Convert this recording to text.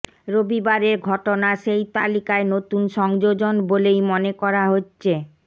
রবিবারের ঘটনা সেই তালিকায় নতুন সংযোজন বলেই মনে করা হচ্ছে